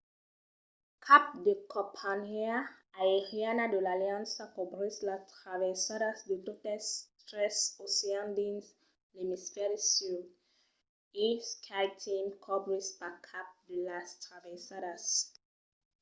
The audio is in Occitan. cap de companhiá aeriana de l'aliança cobrís las traversadas de totes tres oceans dins l'emisfèri sud e skyteam cobrís pas cap de las traversadas